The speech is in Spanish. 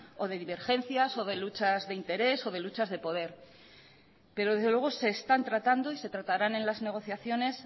o de divergencias o de luchas de interés o de luchas de poder pero desde luego se están tratando y se tratarán en las negociaciones